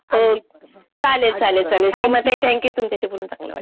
चालेल चालेल चालेल सीमाताई थँक्यू. तुमच्याशी बोलून चांगलं वाटलं.